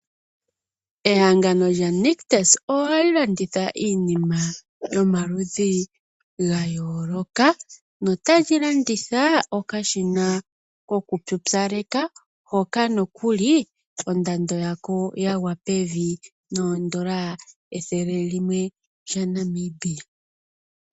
Ehangano lyaNictus ohali landitha iinima yomaludhi ga yooloka notali landitha okashina kokupupyaleka hoka nokuli ondando yako ya gwa pevi nooN$ 100 dhaNamibia.